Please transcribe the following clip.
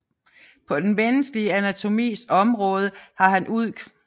På den menneskelige Anatomis Omraade har han udg